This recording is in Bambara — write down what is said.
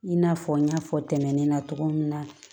I n'a fɔ n y'a fɔ tɛmɛnen na cogo min na